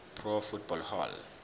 pro football hall